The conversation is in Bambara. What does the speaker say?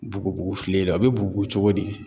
Bugubugu file la a be bugubugu cogo di